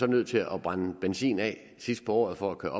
nødt til at brænde benzin af sidst på året for at kunne